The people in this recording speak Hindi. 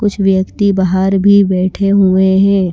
कुछ व्यक्ति बाहर भी बैठे हुए हैं।